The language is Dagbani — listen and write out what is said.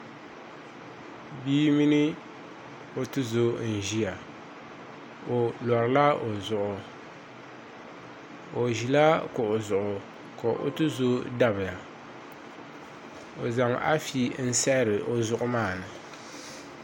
Bia mini o tuzo n ʒiya i lorila i zuɣu o ʒila kuɣu zuɣu ka o tuzo dabiya o zaŋ afi n saɣari o zuɣu maa ni